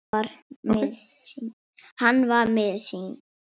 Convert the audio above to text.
Hann var miður sín.